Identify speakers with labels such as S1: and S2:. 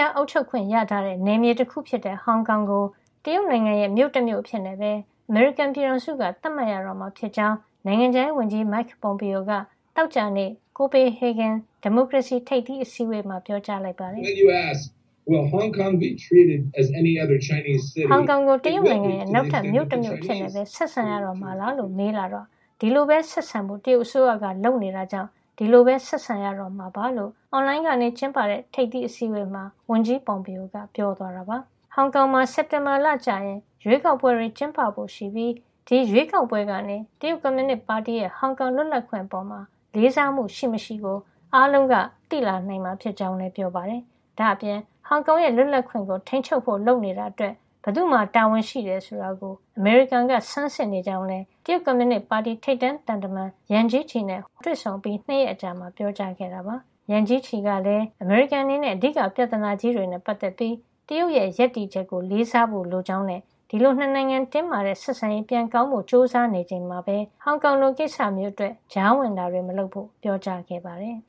S1: ားအုပ်ချုပ်ခွင့်ရထားတဲ့ နယ်မြေတခုဖြစ်တဲ့ ဟောင်ကောင်ကို တရုတ်နိုင်ငံရဲ့ မြို့တမြို့ အဖြစ်နဲ့ပဲ အမေရိကန်ပြည်ထောင်စုက သတ်မှတ်ရတော့မှာ ဖြစ်ကြောင်း နိုင်ငံခြားရေးဝန်ကြီး Mike Pompeo က သောကြာနေ့ ကိုပေဟေဂင် ဒီမိုကရေစီ ထိပ်သီးအစည်းအဝေးမှာ ပြောကြားလိုက်ပါတယ်။
S2: “ဟောင်ကောင်
S1: ကို တရုတ်နိုင်ငံရဲ့ နောက်ထပ် မြို့တမြို့ အဖြစ်နဲ့ပဲ ဆက်ဆံတော့မှာလားလို့ မေးလာရင် ဒီလိုပဲ ဆက်ဆံဖို့ တရုတ်အစိုးရက လုပ်နေတာကြောင့် ဒီလိုပဲ ဆက်ဆံရတော့မှာပါ” လို့ အွန်လိုင်းကနေ ကျင်းပတဲ့ ဒီထိပ်သီး အစည်းဝေးမှာ ဝန်ကြီး Pompeo ကပြောသွားတာပါ။ ဟောင်ကောင်မှာ စက်တင်ဘာလကျရင် ရွေးကောက်ပွဲတွေ ကျင်းပဖို့ရှိပြီး ဒီရွေးကောက်ပွဲကနေ တရုတ်ကွန်မြူနစ်ပါတီရဲ့ ဟောင်ကောင်လွတ်လပ်ခွင့် အပေါ် လေးစားမှု ရှိမရှိကို အားလုံးသိလာနိုင်မှာ ဖြစ်ကြောင်းလည်း ပြောပါတယ်။ ဒါ့အပြင် ဟောင်ကောင်ရဲ့ လွတ်လပ်ခွင့်ကို ထိန်းချုပ်ဖို့ လုပ်နေတာ အတွက် ဘယ်သူ့မှာ တာဝန်ရှိသလဲ ဆိုတာကို အမေရိကန်က ဆန်းစစ်နေကြောင်းလည်း တရုတ်ကွန်မြူနစ်ပါတီ ထိပ်တန်းသံတမန် Yang Jiechi နဲ့ ဟိုနိုလူလူမှာ တွေ့ဆုံအပြီး ၂ ရက်အကြာမှာ ပြောကြားခဲ့တာပါ။ Yang Jiechi ကလည်း အမေရိကန် အနေနဲ့ အဓိက ပြဿနာကြီးတွေ နဲ့ ပတ်သက်ပြီး တရုတ်ရဲ့ ရပ်တည်ချက် ကို လေးစားဖို့ လိုကြောင်းနဲ့ ဒီလို ၂ နိုင်ငံ တင်းမာတဲ့ ဆက်ဆံရေး ပြန်ကောင်းဖို့ ကြိုးစား နေကြချိန်မှာပဲ ဟောင်ကောင်လို ကိစ္စမျိုး အတွက် ကြားဝင်တာတွေ မလုပ်ဖို့ ပြောကြားခဲ့ပါတယ်